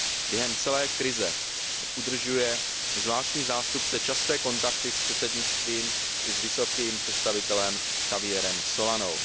Během celé krize udržuje zvláštní zástupce časté kontakty s předsednictvím i s vysokým představitelem Javierem Solanou.